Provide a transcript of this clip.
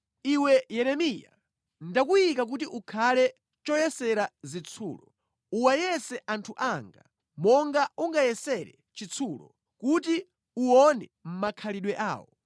“Iwe Yeremiya, ndakuyika kuti ukhale choyesera zitsulo. Uwayese anthu anga monga ungayesere chitsulo kuti uwone makhalidwe awo.